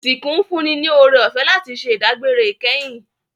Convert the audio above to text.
Isinku n fún ni oorẹ-ọfẹ láti ṣẹ idagbere ikẹhin